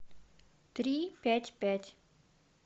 три пять пять